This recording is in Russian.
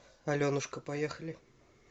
аленушка поехали